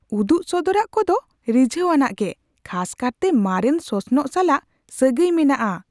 ᱩᱫᱩᱜ ᱥᱚᱫᱚᱨᱟᱜ ᱠᱚᱫᱚ ᱨᱤᱡᱷᱟᱹᱣᱟᱱᱟᱜ ᱜᱮ, ᱠᱷᱟᱥ ᱠᱟᱨᱛᱮ ᱢᱟᱨᱮᱱ ᱥᱚᱥᱱᱚᱜ ᱥᱟᱞᱟᱜ ᱥᱟᱹᱜᱟᱹᱭ ᱢᱮᱱᱟᱜᱼᱟ ᱾